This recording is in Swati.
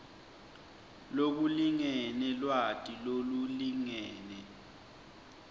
lokulingene lwati lolulingene